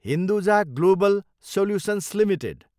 Hinduja global solutions Ltd